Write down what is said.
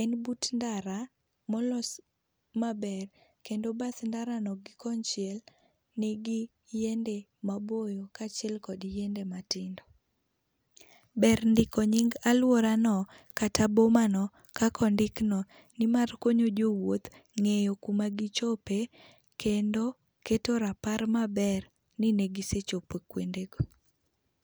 En but ndara ma olos maber kendo bath ndaro no gi konchiel nigi yiende maboyo kaachiel gi matindo. Ber ndiko nying' aluora no kata boma no kaka ondik no nimar konyo jowuoth ng'eyo kuma gichope kendo keto rapar maber ni negisechopo kuonde go.